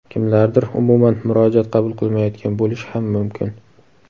kimlardir umuman murojaat qabul qilmayotgan bo‘lishi ham mumkin.